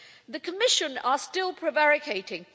The Commission is still prevaricating.